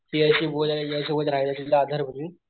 तिच्याशी बोलायला तिच्या सोबत राहायला तिला आधार म्हणून,